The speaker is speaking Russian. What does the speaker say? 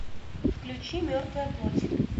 включи мертвая плоть